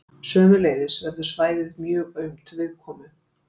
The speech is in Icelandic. Sömuleiðis verður svæðið mjög aumt viðkomu.